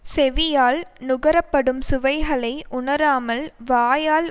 செவியால் நுகர படும் சுவைகளை உணராமல் வாயால்